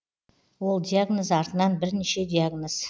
ол диагноз артынан бірнеше диагноз